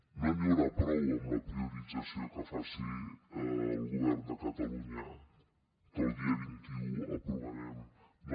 no n’hi haurà prou amb la priorització que faci el govern de catalunya que el dia vint un aprovarem no